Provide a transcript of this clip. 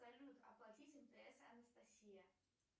салют оплатить мтс анастасия